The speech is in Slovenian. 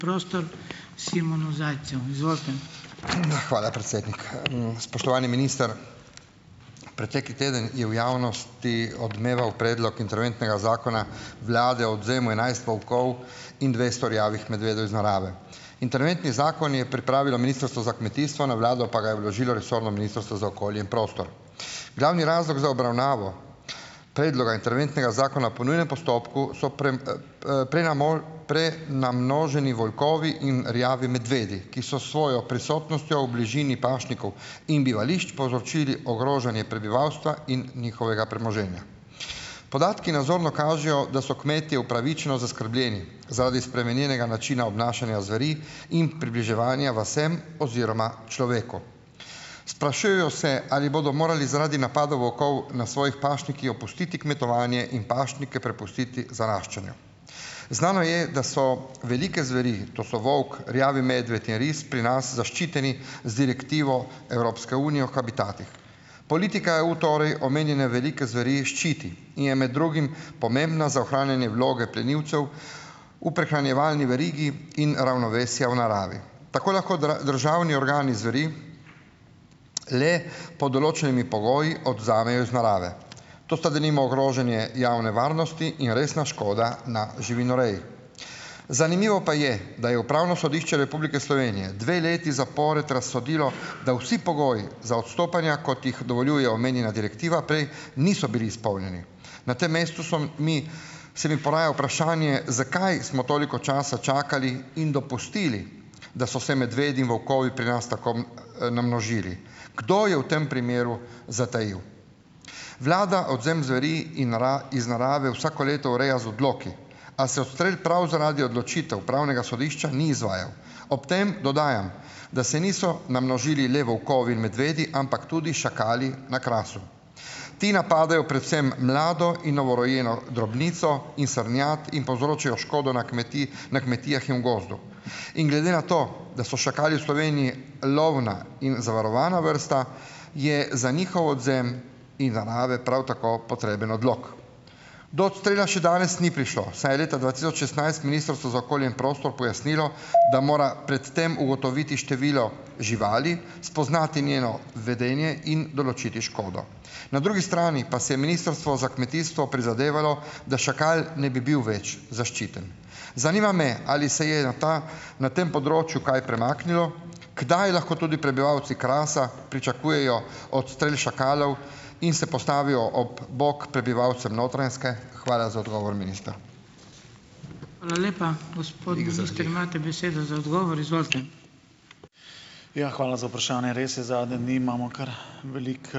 Hvala, predsednik. Spoštovani minister! Pretekli teden je v javnosti odmeval predlog interventnega zakona vlade o odvzemu enajst volkov in dvesto rjavih medvedov iz narave. Interventni zakon je pripravilo Ministrstvo za kmetijstvo, na vlado pa ga je vložilo resorno Ministrstvo za okolje in prostor. Glavni razlog za obravnavo predloga interventnega zakona po nujnem postopku so prenamnoženi volkovi in rjavi medvedi, ki so s svojo prisotnostjo v bližini pašnikov in bivališč povzročili ogrožanje prebivalstva in njihovega premoženja. Podatki nazorno kažejo, da so kmetje upravičeno zaskrbljeni zaradi spremenjenega načina obnašanja zveri in približevanja vasem oziroma človeku. Sprašujejo se, ali bodo morali zaradi napadov volkov na svojih pašnikih opustiti kmetovanje in pašnike prepustiti zaraščanju. Znano je, da so velike zveri, to so volk, rjavi medved in ris pri nas zaščiteni z direktivo Evropske unije o habitatih. Politika EU torej omenjene velike zveri ščiti in je med drugim pomembna za ohranjanje vloge plenilcev v prehranjevalni verigi in ravnovesja v naravi. Tako lahko državni organi zveri le pod določenimi pogoji odvzamejo iz narave. To sta denimo ogrožanje javne varnosti in resna škoda na živinoreji. Zanimivo pa je, da je Upravno sodišče Republike Slovenije dve leti zapored razsodilo, da vsi pogoji, za odstopanja, kot jih dovoljuje omenjena direktiva, prej niso bili izpolnjeni. Na tem mestu so mi se mi poraja vprašanje, zakaj smo toliko časa čakali in dopustili, da so se medvedi in volkovi pri nas tako, namnožili. Kdo je v tem primeru zatajil? Vlada odvzem zveri in narave iz narave vsako leto ureja z odloki. A se odstrel prav zaradi odločitev pravnega sodišča ni izvajal. Ob tem dodajam, da se niso namnožili le volkovi in medvedi, ampak tudi šakali na Krasu. Ti napadajo predvsem mlado in novorojeno drobnico in srnjad in povzročajo škodo na na kmetijah in v gozdu. In glede na to, da so šakali v Sloveniji lovna in zavarovana vrsta, je za njihov odvzem iz narave prav tako potreben odlok. Do odstrela še danes ni prišlo, saj je leta dva tisoč šestnajst Ministrstvo za okolje in prostor pojasnilo, da mora pred tem ugotoviti število živali, spoznati njeno vedenje in določiti škodo. Na drugi strani pa se je Ministrstvo za kmetijstvo prizadevalo, da šakal ne bi bil več zaščiten. Zanima me, ali se je na ta na tem področju kaj premaknilo? Kdaj lahko tudi prebivalci Krasa pričakujejo odstrel šakalov in se postavijo ob bok prebivalcem Notranjske? Hvala za odgovor, minister.